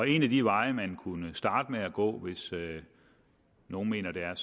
en af de veje man kunne starte med at gå hvis nogle mener at